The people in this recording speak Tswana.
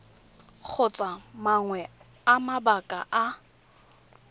kgotsa mangwe a mabaka a